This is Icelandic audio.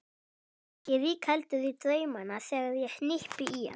Helgi rígheldur í draumana þegar ég hnippi í hann.